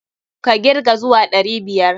Ka kirga zuwa ɗari biyar!